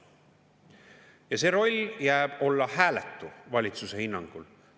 Ja see roll jääb olla hääletu, valitsuse hinnangul.